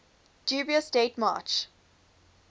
dubious date march